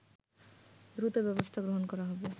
দ্রুত ব্যবস্থা গ্রহণ করা হবে